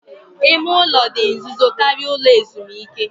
Ime ụlọ dị nzuzo karịa ụlọ ezumike